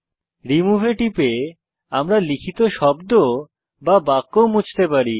remove এ টিপে আমরা লিখিত শব্দ বা বাক্য মুছতে পারি